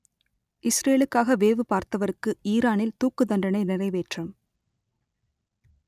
இஸ்ரேலுக்காக வேவு பார்த்தவருக்கு ஈரானில் தூக்குத்தண்டனை நிறைவேற்றம்